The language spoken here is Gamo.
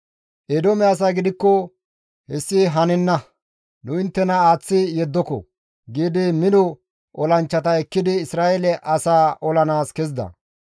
Eedoome asay gidikko, «Hessi hanenna! Nu inttena aaththi yeddoko!» giidi mino olanchchata ekkidi Isra7eele asaa olanaas kezida.